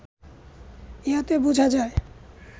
ইহাতে বুঝা যায়